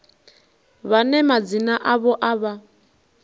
vhane madzina avho a vha